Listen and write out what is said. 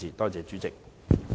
多謝主席。